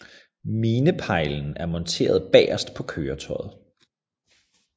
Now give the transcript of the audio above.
Mineplejlen er monteret bagerst på køretøjet